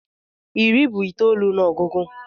Iri bụ itoolu n'ogugu